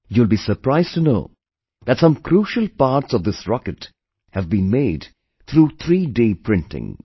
You will be surprised to know that some crucial parts of this rocket have been made through 3D Printing